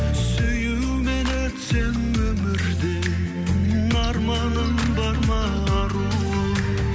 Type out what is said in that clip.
сүюмен өтсем өмірде арманым бар ма аруым